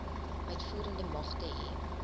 uitvoerende magte hê